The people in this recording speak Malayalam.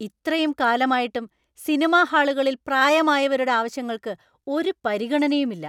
ഇത്രയും കാലം ആയിട്ടും സിനിമാ ഹാളുകളിൽ പ്രായമായവരുടെ ആവശ്യങ്ങൾക്ക് ഒരു പരിഗണയും ഇല്ല.